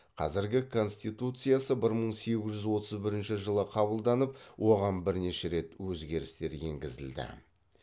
қазіргі конституциясы бір мың сегіз жүз отыз бірінші жылы қабылданып оған бірнеше рет өзгерістер енгізілді